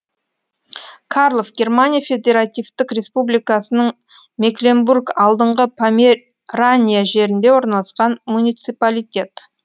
карлов германия федеративтік республикасының мекленбург алдыңғы померания жерінде орналасқан муниципалитет